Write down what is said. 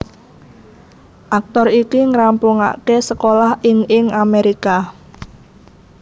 Aktor iki ngrampungaké sekolah ing ing Amerika